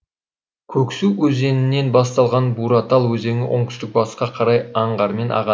көксу өзенінен басталған буратал өзені оңтүстік батысқа қарай аңғармен ағады